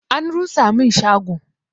An rusa mun shago